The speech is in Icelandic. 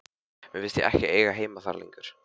Mér fannst ég ekki eiga heima þar lengur.